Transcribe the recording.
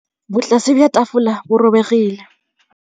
Botlasê jwa tafole bo robegile.